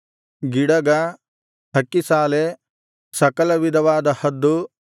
ಗಿಡಗ ಹಕ್ಕಿಸಾಲೆ ಸಕಲವಿಧವಾದ ಹದ್ದು